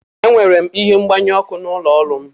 Enwere m ihe mgbanyụ ọkụ n'ụlọ ọrụ m.